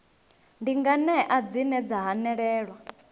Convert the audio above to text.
ndi nganea dzine dza hanelelwa